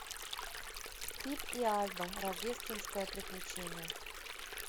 пип и альба рождественское приключение